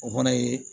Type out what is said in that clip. O fana ye